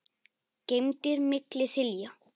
geymdir milli þilja.